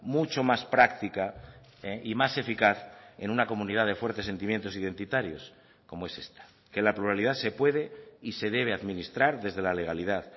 mucho más práctica y más eficaz en una comunidad de fuertes sentimientos identitarios como es esta que la pluralidad se puede y se debe administrar desde la legalidad